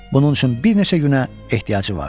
Bunun üçün bir neçə günə ehtiyacı vardı.